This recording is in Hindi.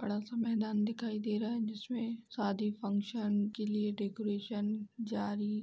बड़ा सा मैदान दिखाई दे रहा है। जिसमें शादी फंक्शन के लिए डेकोरेशन जारी --